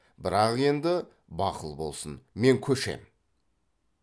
бірақ енді бақыл болсын мен көшем